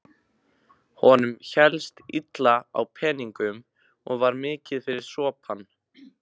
Honum hélst illa á peningum og var mikið fyrir sopann.